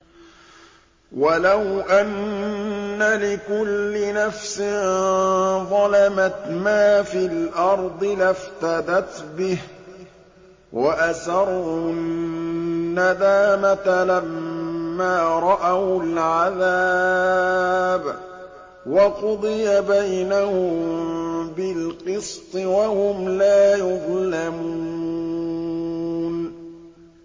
وَلَوْ أَنَّ لِكُلِّ نَفْسٍ ظَلَمَتْ مَا فِي الْأَرْضِ لَافْتَدَتْ بِهِ ۗ وَأَسَرُّوا النَّدَامَةَ لَمَّا رَأَوُا الْعَذَابَ ۖ وَقُضِيَ بَيْنَهُم بِالْقِسْطِ ۚ وَهُمْ لَا يُظْلَمُونَ